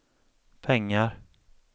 pengar